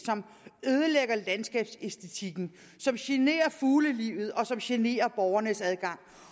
ødelægge landskabsæstetikken genere fuglelivet og genere borgernes adgang